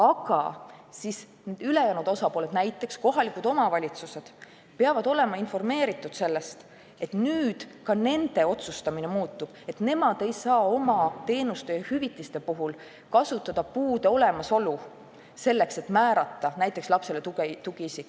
Aga siis peab ülejäänud osapooli, näiteks kohalikke omavalitsusi, olema informeeritud sellest, et nüüd ka nende otsustamine muutub ning nad ei saa enam oma teenuste ja hüvitiste puhul kasutada puude olemasolu selleks, et määrata lapsele näiteks tugiisik.